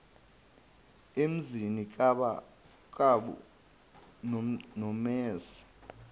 emzini kab nomese